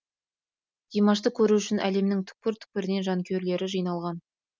димашты көру үшін әлемнің түкпір түкпірінен жанкүйерлері жиналған